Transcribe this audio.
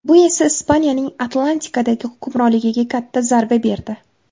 Bu esa Ispaniyaning Atlantikadagi hukmronligiga katta zarba berdi.